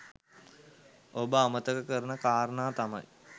ඔබ අමතක කරන කාරණා තමයි